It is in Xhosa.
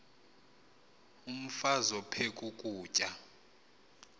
umfaz aphek ukutya